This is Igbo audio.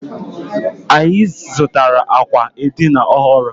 Anyị zụtara àkwà edina ọhụrụ.